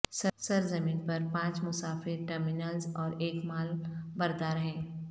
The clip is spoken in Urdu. سرزمین پر پانچ مسافر ٹرمینلز اور ایک مال بردار ہیں